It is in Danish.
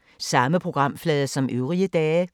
Samme programflade som øvrige dage